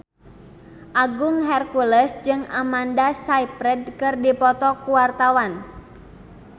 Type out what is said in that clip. Agung Hercules jeung Amanda Sayfried keur dipoto ku wartawan